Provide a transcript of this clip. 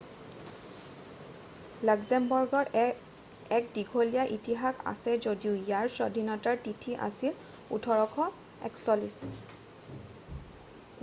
লাক্সেমবাৰ্গৰ এক দীঘলীয়া ইতিহাস আছে যদিও ইয়াৰ স্বাধীনতাৰ তিথি আছিল 1839